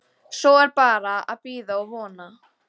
Svo er bara að bíða og vona!